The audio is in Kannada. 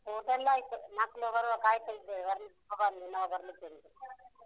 ಊಟ ಎಲ್ಲ ಆಯ್ತು. ಮಕ್ಳು ಬರುವ ಕಾಯ್ತಾ ಇದ್ದೇವೆ. ಒಬ್ಬ ಬಂದ, ಇನ್ನೊಬ್ಬ ಬರ್ಲಿಕ್ಕೆ ಉಂಟು.